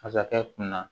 Masakɛ kun na